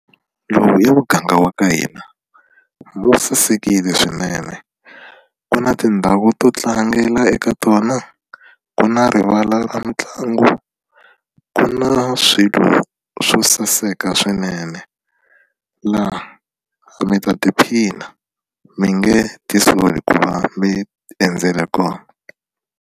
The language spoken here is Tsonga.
Lowu i muganga wa ka hina wu sasekile swinene ku na tindhawu to tlangela eka tona ku na rivala ra mitlangu ku na swilo swo saseka swinene laha mi ta tiphina mi nge ti soli ku va mi endzela kona.